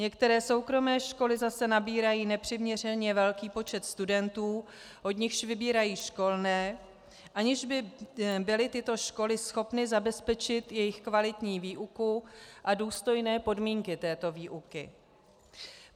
Některé soukromé školy zase nabírají nepřiměřeně velký počet studentů, od nichž vybírají školné, aniž by byly tyto školy schopny zabezpečit jejich kvalitní výuku a důstojné podmínky této výuky.